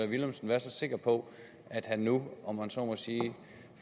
villumsen være så sikker på at han nu om man så må sige